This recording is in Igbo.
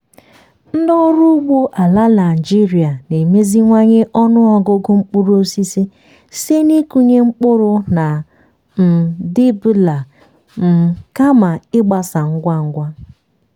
ndị ọrụ ugbo ala naijiria na-emeziwanye ọnụ ọgụgụ mkpụrụ osisi site n'ịkụnye mkpụrụ na um dibbler um kama ịgbasa ngwa ngwa.